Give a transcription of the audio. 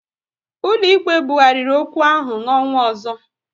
Ụlọ ikpe bughariri okwu ahụ n'ọnwa ọzọ